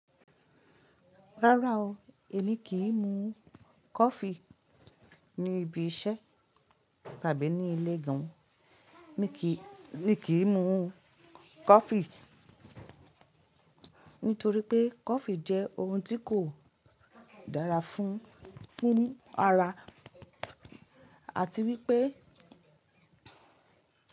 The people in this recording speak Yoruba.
Rárá o, èmi kì í mu coffee ní ibi iṣẹ́ tàbí ní ilé gan an. Èmi kì í mu coffee nítorí pé coffee jẹ́ ohun tí kò dára fún, fún ara àti wípé.